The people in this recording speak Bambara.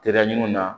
Teriya ɲuman na